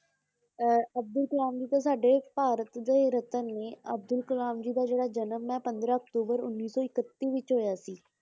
ਅਹ ਅਬਦੁਲ ਕਾਲਮ ਜੀ ਤਾਂ ਸਾਡੇ ਭਾਰਤ ਦੇ ਰਤਨ ਨੇ, ਅਬਦੁਲ ਕਾਲਮ ਜੀ ਦਾ ਜਿਹੜਾ ਜਨਮ ਹੈ, ਪੰਦਰਾਂ ਅਕਤੂਬਰ ਉੱਨੀ ਸੌ ਇਕੱਤੀ ਵਿੱਚ ਹੋਇਆ ਸੀ।